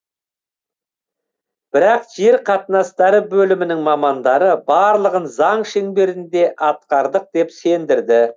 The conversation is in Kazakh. бірақ жер қатынастары бөлімінің мамандары барлығын заң шеңберінде атқардық деп сендірді